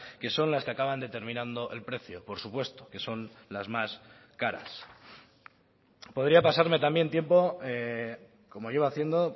que son las que acaban determinando el precio por supuesto que son las más caras podría pasarme también tiempo como iba haciendo